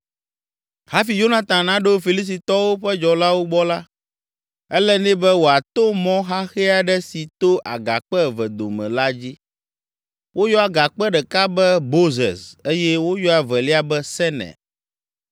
Hafi Yonatan naɖo Filistitɔwo ƒe dzɔlawo gbɔ la, ele nɛ be wòato mɔ xaxɛ aɖe si to agakpe eve dome la dzi. Woyɔa agakpe ɖeka be Bozez eye woyɔa evelia be Sene.